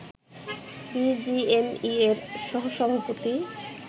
বিজিএমইএর সহ সভাপতি